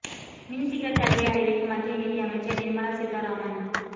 மின் சிகரெட் தடையை அறிவிக்கும் மத்திய நிதி அமைச்சர் நிர்மலா சீதாராமன்